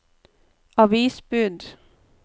avisbud